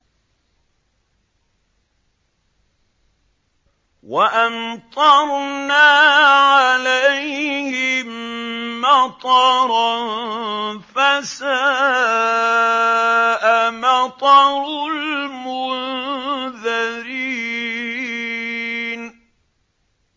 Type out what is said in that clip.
وَأَمْطَرْنَا عَلَيْهِم مَّطَرًا ۖ فَسَاءَ مَطَرُ الْمُنذَرِينَ